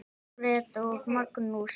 Margrét og Magnús.